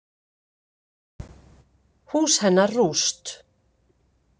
Hús hennar rúst.